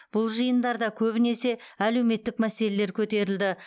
бұл жиындарда көбінесе әлеуметтік мәселелер көтерілді